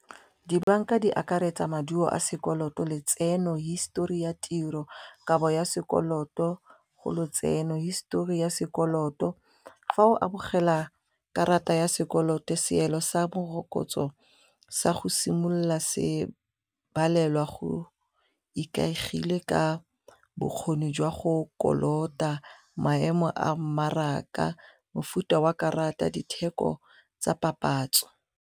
Dibanka di akaretsa maduo a sekoloto, letseno, hisetori ya tiro, kabo ya sekoloto go lotseno histori ya sekoloto, fa o amogela karata ya sekoloto seelo sa morokotso sa go simolola se balelwa go ikaegile ka bokgoni jwa go kolota, maemo a mmaraka, mofuta wa karata, ditheko tsa papatso.